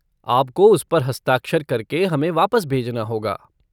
आपको उस पर हस्ताक्षर करके हमें वापस भेजना होगा।